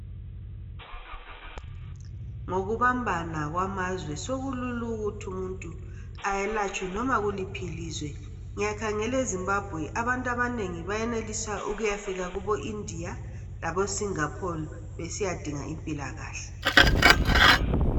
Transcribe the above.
Ngokubambana kwamazwe sokulula ukuthi umuntu ayelatshwe noma kuliphi ilizwe. Ngiyakhangela eZimbabwe abantu abanengi bayenelisa ukuyafika kuboIndia laboSingapore besiyadinga impilakahle.